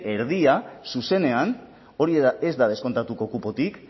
erdia zuzenean hori ez da deskontatuko kupotik